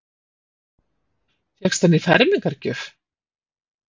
Fékkstu hann í fermingargjöf?